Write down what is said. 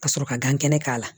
Ka sɔrɔ ka gan kɛnɛ k'a la